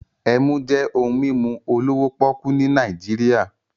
Emu jẹ́ ohun mímu olówó pọ́ọ́kú ní Nàìjíríà